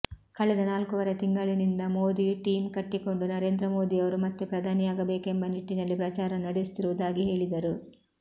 ಕಳೆದ ನಾಲ್ಕೂವರೆ ತಿಂಗಳಿನಿಂದ ಮೋದಿ ಟೀಂ ಕಟ್ಟಿಕೊಂಡು ನರೇಂದ್ರ ಮೋದಿಯವರು ಮತ್ತೆ ಪ್ರಧಾನಿಯಾಗಬೇಕೆಂಬ ನಿಟ್ಟಿನಲ್ಲಿ ಪ್ರಚಾರ ನಡೆಸುತ್ತಿರುವುದಾಗಿ ಹೇಳಿದರು